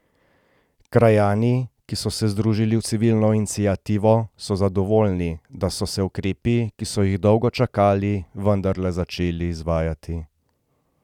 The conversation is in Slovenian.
Krajani, ki so se združili v civilno iniciativo, so zadovoljni, da so se ukrepi, ki so jih dolgo čakali, vendarle začeli izvajati.